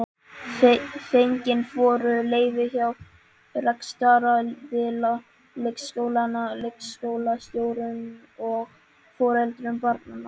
Fengin voru leyfi hjá rekstraraðila leikskólanna, leikskólastjórum og foreldrum barnanna.